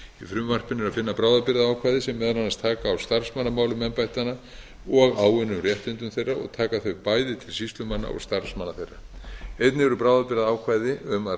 frumvarpinu er að finna bráðabirgðaákvæði sem meðal annars taka á starfsmannamálum embættanna og áunnum réttindum þeirra og taka þau bæði til sýslumanna og starfsmanna þeirra einnig eru bráðabirgðaákvæði um að